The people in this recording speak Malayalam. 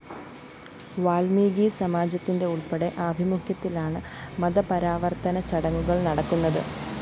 വാല്‍മീകി സമാജത്തിന്റെ ഉള്‍പ്പെടെ ആഭിമുഖ്യത്തിലാണ് മതപരാവര്‍ത്തന ചടങ്ങുകള്‍ നടക്കുന്നത്